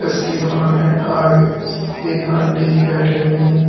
इसकी दुकान है आगे एक आंटी जी बैठे हुई हैं।